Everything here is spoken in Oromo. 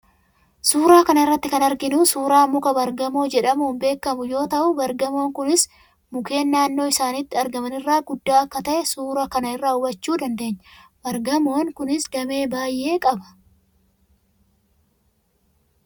Suuraa kana irratti kan arginu suuraa muka baar-gamoo jedhamuun beekamu yoo ta'u, baar-gamoon kunis mukeen naannoo isaatti argaman irra guddaa akka ta'e suuraa kana irraa hubachuu dandeenya. Baar-gamoon kunis damee baay'ee qaba.